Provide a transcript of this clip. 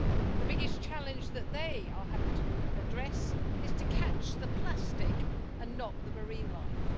The biggest challenge they are having to address is to catch the plastic, and not the marine life.